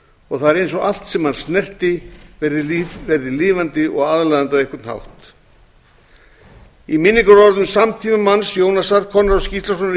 og það er eins og allt sem hann snerti verði lifandi og aðlaðandi á einhvern hátt í minningarorðum samtímamanns jónasar konráðs gíslasonar í